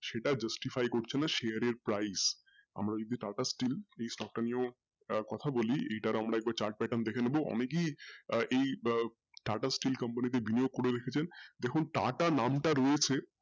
সেটা justify করছে না share এর price আমরা যদি TATA steel এই stock টা নিয়েও তার এক্তহা বলি এটার আমরা একবার chart pattern দেখে নেবো এই TATA steel company তে করে রেখেছেন দেখুন TATA নামটা রয়েছে,